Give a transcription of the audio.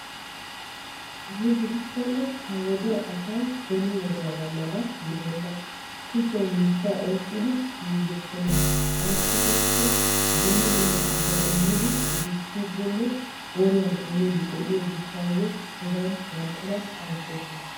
Ay gidikkonne ha wodiya asay beni wodiya asaa mala gidenna kushiyan miishsha oyqqiddi yuuyokkonna ayssi giikko dumma dumma asawu immidde dichiddi de'iyo gishawu bana ayssosonna.